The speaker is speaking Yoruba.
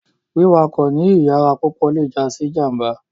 Wiwakọ ni iyara pupọ le ja si ijamba